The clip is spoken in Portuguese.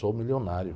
Sou milionário.